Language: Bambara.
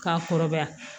K'a kɔrɔbaya